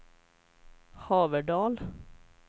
Haverdal